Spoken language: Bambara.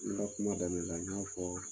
N ka kuma daminɛ la n y'a fɔ